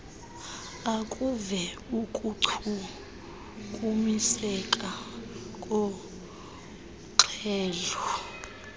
akuve ukuchukumiseka kornxhelo